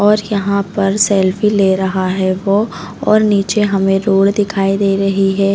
और यहाँ पर सेल्फी ले रहा है वो और नीचे हमें रोड दिखाई दे रही है।